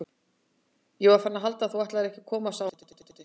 Ég var farin að halda að þú ætlaðir ekki að koma sagði hún brosandi.